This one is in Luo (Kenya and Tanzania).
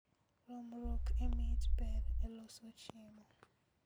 Romruok e mit ber e loso chiemo